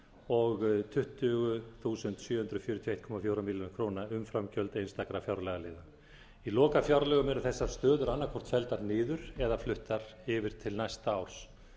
og tuttugu þúsund sjö hundruð fjörutíu og einn komma fjórum milljónum umframgjöld einstakra fjárlagaliða í lokafjárlögum eru þessar stöður annaðhvort felldar niður eða fluttar yfir til næsta árs